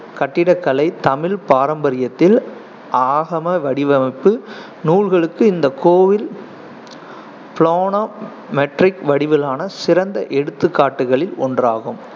கட்டிடக்கலை தமிழ் பாரம்பரியத்தில் ஆகம வடிவமைப்பு நூல்களுக்கு இந்த கோயில் planometric வடிவிலான சிறந்த எடுத்துக்காட்டுகளில் ஒன்றாகும்